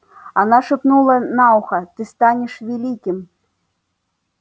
она шепнула на ухо ты станешь великим